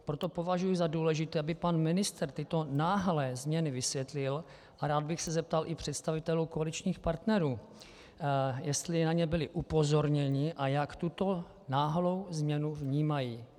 Proto považuji za důležité, aby pan ministr tyto náhlé změny vysvětlil, a rád bych se zeptal i představitelů koaličních partnerů, jestli na ně byli upozorněni a jak tuto náhlou změnu vnímají.